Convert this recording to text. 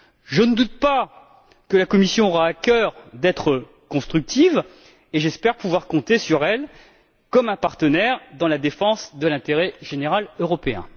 Je ne doute pas que la Commission aura à cœur d'être constructive et j'espère pouvoir compter sur elle comme sur un partenaire dans la défense de l'intérêt général européen.